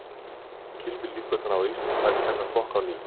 En hverjar telur Gylfi líkurnar á að Ísland fari í þennan flokk á ný?